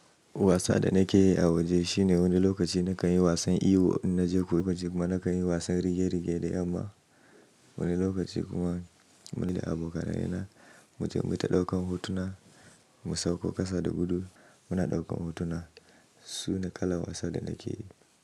Wasa da nake yi a waje shine wani lokaci na kan yi wasan iwo na jego kuma na kan yi wasan rige-rige da yamma. Wani lokaci kuma, ni da abokanai na, muje mu ta ɗaukan hotuna, mu sauko ƙasa da gudu muna ɗaukan hotuna. Su ne kalan wasan da nake yi.